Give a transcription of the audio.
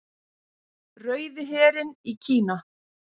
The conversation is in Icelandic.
Rauði herinn í Kína.